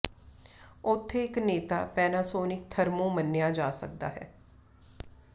ਉੱਥੇ ਇੱਕ ਨੇਤਾ ਪੇਨਾਸੋਨਿਕ ਥਰਮੋ ਮੰਨਿਆ ਜਾ ਸਕਦਾ ਹੈ